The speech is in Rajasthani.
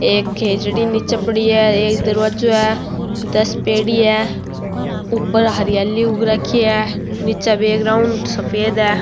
एक खेजड़ी निचे पड़ी है एक दरवाजो है दस पेड़ी है ऊपर हरियाली उग राखी है निचे बैग्राउंड सफ़ेद है।